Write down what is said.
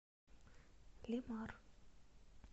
лемар